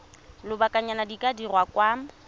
lobakanyana di ka dirwa kwa